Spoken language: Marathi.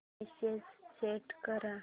मेसेज सेंड कर